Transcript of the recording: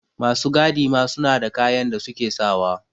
Masu gadi ma suna da kayan da suke sawa